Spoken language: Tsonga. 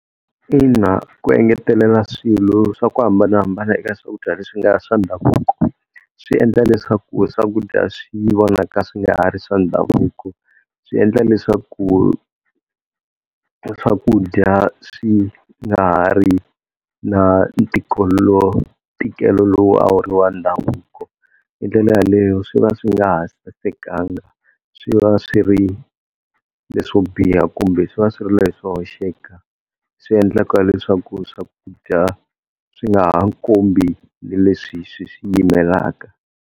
Ina ku engetelela swilo swa ku hambanahambana ka swakudya leswi nga swa ndhavuko, swi endla leswaku swakudya swi vonaka swi nga ha ri swa ndhavuko. Swi endla leswaku swakudya swi nga ha ri na ntikelo lowu a wu ri wa ndhavuko, hindlela yaleyo swi va swi nga ha sasekanga swi va swi ri leswo biha kumbe swi va swi ri leswo hoxeka. Swiendla leswaku swakudya swi nga ha tikombi na leswi swi swi yimelaka.